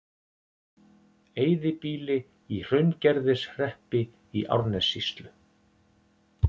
Eyðibýli í Hraungerðishreppi í Árnessýslu.